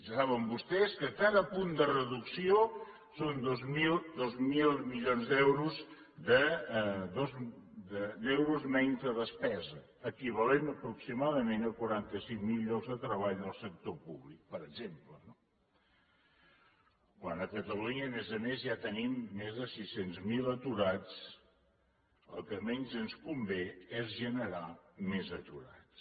saben vostès que cada punt de reducció són dos mil milions d’euros menys de despesa equivalent aproximadament a quaranta cinc mil llocs de treball del sector públic per exemple no quan a catalunya a més a més ja tenim més de sis cents miler aturats el que menys ens convé és generar més aturats